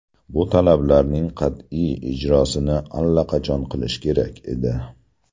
Bu talablarning qat’iy ijrosini allaqachon qilish kerak edi.